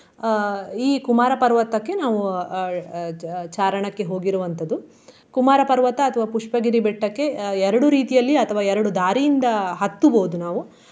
ಆ ಈ ಕುಮಾರ ಪರ್ವತಕ್ಕೆ ನಾವು ಅಹ್ ಅಹ್ ಚಾ~ ಚಾರಣಕ್ಕೆ ಹೋಗಿರುವಂತದ್ದು. ಕುಮಾರ ಪರ್ವತ ಅಥವಾ ಪುಷ್ಪಗಿರಿ ಬೆಟ್ಟಕ್ಕೆ ಆ ಎರಡು ರೀತಿಯಲ್ಲಿ ಅಥವಾ ಎರಡು ದಾರಿಯಿಂದ ಹತ್ತುಬಹುದು ನಾವು.